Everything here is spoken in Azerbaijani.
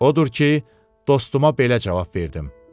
Odur ki, dostuma belə cavab verdim.